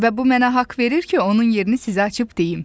Və bu mənə haqq verir ki, onun yerini sizə açıb deyim.